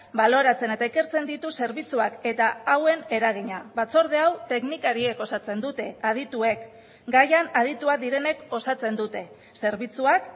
baloratzen eta ikertzen ditu zerbitzuak eta hauen eragina batzorde hau teknikariek osatzen dute adituek gaian adituak direnek osatzen dute zerbitzuak